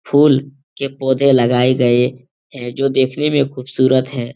फूल के पौधे लगाए गए हैं जो देखने में खूबसूरत हैं।